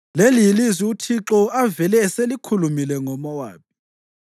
Leli yilizwi uThixo avele eselikhulumile ngoMowabi.